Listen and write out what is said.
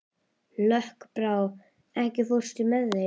Lokbrá, ekki fórstu með þeim?